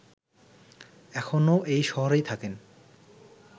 এখনো এই শহরেই থাকেন